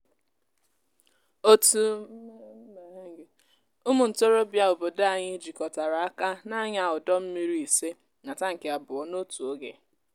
otú ụmụ ntorobịa obodo anyị jikọtara aka na-anya ọdọ mmiri ise na tankị abụọ n'otu oge.